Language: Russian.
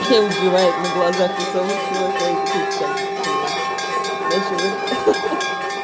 и убивают на глазах у совы чувака и такой так блять начал это